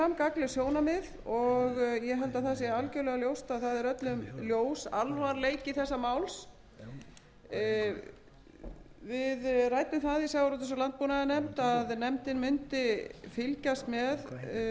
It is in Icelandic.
gagnleg sjónarmið og ég held að það sé algjörlega ljóst að það er öllum ljós alvarleiki þessa máls við ræddum það í sjávarútvegs og landbúnaðarnefnd að nefndin mundi fylgjast með því hvernig til